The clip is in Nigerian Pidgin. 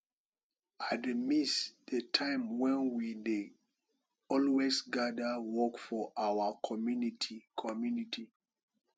i dey miss the time wen we dey always gather work for our community community